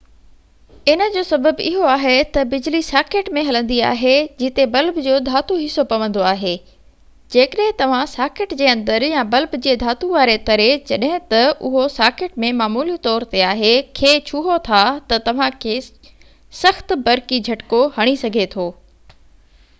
ان جو سبب اهو آهي تہ بجلي ساڪيٽ ۾ هلندي آهي جتي بلب جو ڌاتو حصو پوندو آهي جيڪڏهن توهان ساڪيٽ جي اندر يا بلب جي ڌاتو واري تري جڏهن تہ اهو ساڪيٽ ۾ معمولي طور تي آهي کي ڇهو ٿا تہ توهان کي سخت برقي جهٽڪو هڻي سگهي ٿو